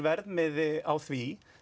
verðmiði á því